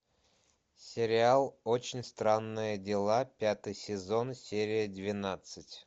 сериал очень странные дела пятый сезон серия двенадцать